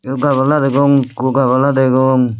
eyot gabala degong ekko gabala degong.